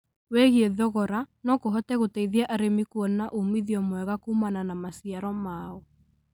wĩgie thogora no kũhote gũteithia arĩmi kuona umithio mwega kũmana na maciaro mao.